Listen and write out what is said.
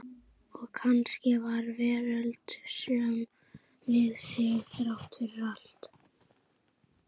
Og kannski var veröldin söm við sig, þrátt fyrir allt.